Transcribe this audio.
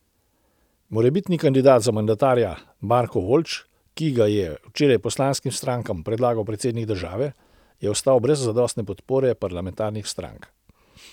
Morebitni kandidat za mandatarja Marko Voljč, ki ga je včeraj poslanskim strankam predlagal predsednik države, je ostal brez zadostne podpore parlamentarnih strank.